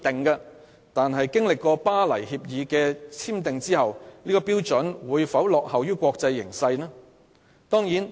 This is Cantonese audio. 然而，《巴黎協定》簽訂後，本港的標準會否落後於國際標準？